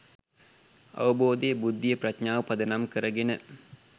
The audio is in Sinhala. අවබෝධය, බුද්ධිය, ප්‍රඥාව පදනම් කරගෙන